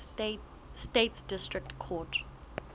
states district court